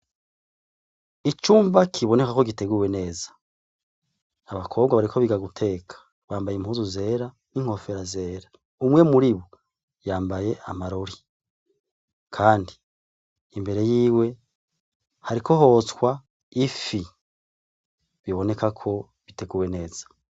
Icumba kiboneka ko giteguwe neza abakobwa bariko biga guteka bambaye impuzu zera n'inkofero zera umwe muribo yambaye amarori kandi imbere yiwe hariko hotswa ifi biboneka ko biteguwe neza.